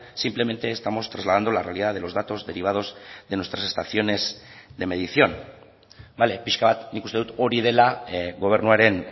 simplemente estamos trasladando la realidad de los datos derivados de nuestras estaciones de medición bale pixka bat nik uste dut hori dela gobernuaren